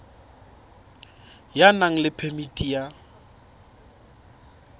ya nang le phemiti ya